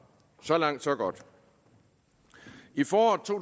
så langt så godt i foråret to